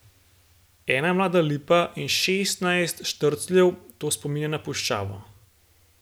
Ena mlada lipa in šestnajst štrcljev, to spominja na puščavo.